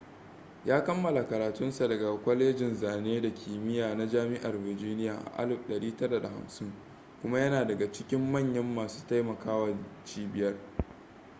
ya kammala karatun sa daga kwalejin zane da kimiya na jami'ar virginia a 1950 kuma yana daga cikin manyan masu taimaka wa cibiyar